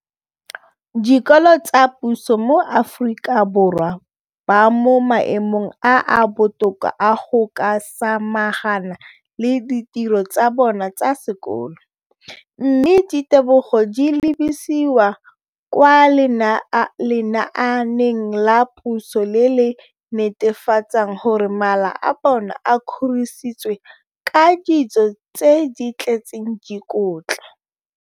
Dikolo tsa puso mo Aforika Borwa ba mo maemong a a botoka a go ka samagana le ditiro tsa bona tsa sekolo, mme ditebogo di lebisiwa kwa lenaaneng la puso le le netefatsang gore mala a bona a kgorisitswe ka dijo tse di tletseng dikotla.